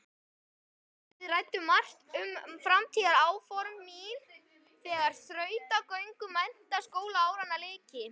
Við ræddum margt um framtíðaráform mín þegar þrautagöngu menntaskólaáranna lyki.